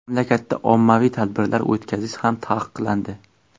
Mamlakatda ommaviy tadbirlar o‘tkazish ham taqiqlandi.